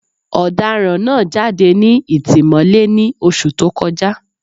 Ọ̀daràn náà jáde ní ìtìmọ́lé ní Oṣù tó kọjá